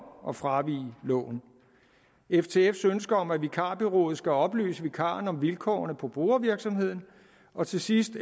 at fravige loven ftfs ønske om at vikarbureauet skal oplyse vikaren om vilkårene på brugervirksomheden og til sidst